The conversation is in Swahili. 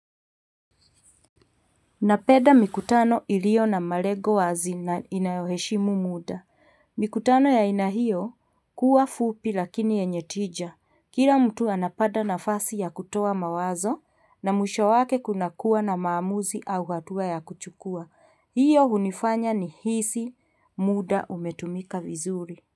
Napeda mikutano ilio na marego wazi na inayoheshimu muda mikutano ya haina iyo kuwa fupi lakini yenye tija kila mtu anapada nafasi ya kutoa mawazo na mwisho wake kuna kuwa na maamuzi au hatua ya kuchukua hiyo unifanya nihisi muda umetumika vizuri.